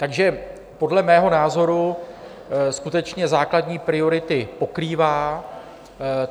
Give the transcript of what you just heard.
Takže podle mého názoru skutečně základní priority pokrývá.